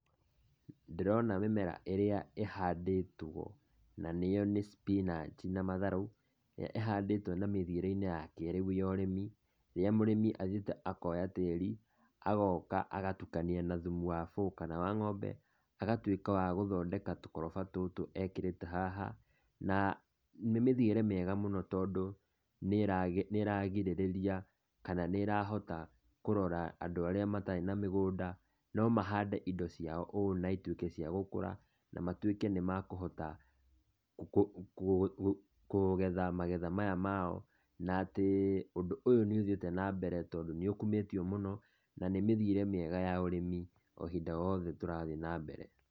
Ndĩrona mĩmera ĩrĩa ĩhandĩtwo na nĩyo nĩ spinach na matharũ, ĩrĩa ĩhandĩtwo na mĩthiĩre-inĩ ya kĩrĩũ ya ũrĩmi, ĩrĩa mũrĩmi athiĩte akoya tirĩ, agoka agatukania na thumu wa bũũ kana wa ng'ombe, agatuĩka wa gũthondeka tũkoroba tũtũ ekĩrĩte haha, na nĩ mĩthiĩre mĩega mũno tondũ, nĩ ĩragirĩrĩria kana nĩ ĩrahota kũrora andũ arĩa matarĩ na mĩgũnda, no mahande indo ciao ũũ na cituĩke cia gũkũra, na matuĩke nĩ mekũhota kũgetha magetha maya mao, na atĩ ũndũ ũyũ nĩ ũthiĩte nambere tondũ nĩ ũkumĩtio mũno na nĩ mĩthiĩre mĩega ya ũrĩmi o ihinda rĩothe tũrathiĩ na mbere.